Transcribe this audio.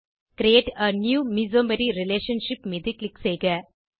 create a new mesomery relationship மீது click செய்க